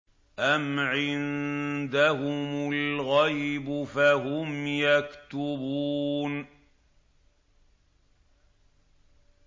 أَمْ عِندَهُمُ الْغَيْبُ فَهُمْ يَكْتُبُونَ